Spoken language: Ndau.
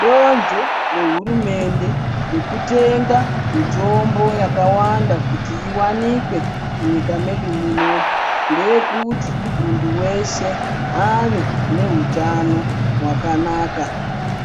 Donzvo rehurumende rokutenga mitombo yakawanda kuti iwanikwe munyika medu munomu ndeyekuti munthu weshe ave nehutano hwakanaka